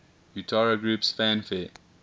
utari groups fanfare